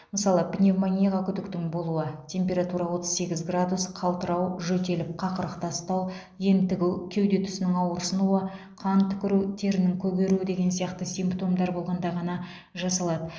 мысалы пневмонияға күдіктің болуы температура отыз сегіз градус қалтырау жөтеліп қақырық тастау ентігу кеуде тұсының ауырсынуы қан түкіру терінің көгеруі деген сияқты симптомдар болғанда ғана жасалады